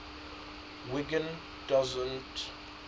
wiggin doesn t